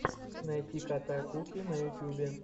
найти кота куки на ютубе